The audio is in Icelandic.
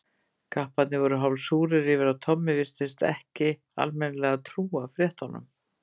Kapparnir voru hálf súrir yfir að Tommi virtist ekki almennilega trúa fréttunum.